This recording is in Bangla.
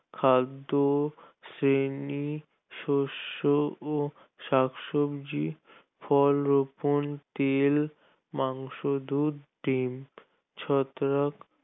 খাদ্য শ্রেণী শস্য ও শ্বাকসব্জি ফল রোপণ, তেল, মাংস, দূধ, ডিম, ছত্রাক